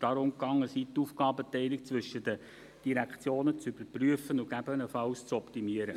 Es soll darum gegangen sein, die Aufgabenteilung zwischen den Direktionen zu überprüfen und gegebenenfalls zu optimieren.